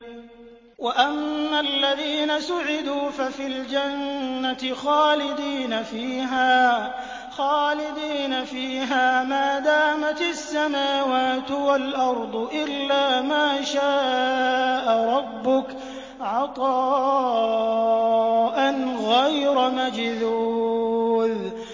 ۞ وَأَمَّا الَّذِينَ سُعِدُوا فَفِي الْجَنَّةِ خَالِدِينَ فِيهَا مَا دَامَتِ السَّمَاوَاتُ وَالْأَرْضُ إِلَّا مَا شَاءَ رَبُّكَ ۖ عَطَاءً غَيْرَ مَجْذُوذٍ